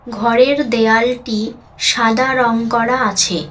ঘরের দেয়ালটি সাদা রং করা আছে।